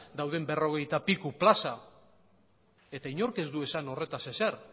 dauden berrogeita piku plaza eta inork ez du esan horretaz ezer